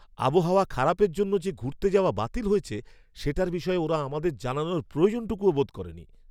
আবহাওয়া খারাপের জন্য যে ঘুরতে যাওয়া বাতিল হয়েছে, সেটার বিষয়ে ওরা আমাদের জানানোর প্রয়োজনটুকুও বোধ করেনি।